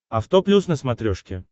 авто плюс на смотрешке